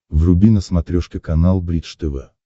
вруби на смотрешке канал бридж тв